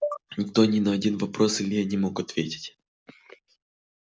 никто ни на один вопрос илье не мог ответить